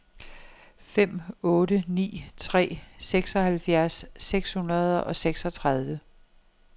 fem otte ni tre seksoghalvfjerds seks hundrede og seksogtredive